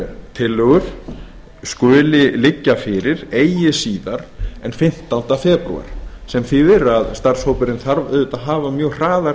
tillögur skuli liggja fyrir eigi síðar en fimmtánda febrúar tvö þúsund og níu sem þýðir að starfshópurinn þarf auðvitað að hafa mjög hraðar